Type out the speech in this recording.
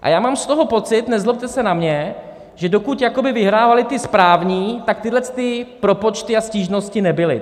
A já mám z toho pocit, nezlobte se na mě, že dokud vyhrávali ti správní, tak tyhlety propočty a stížnosti nebyly.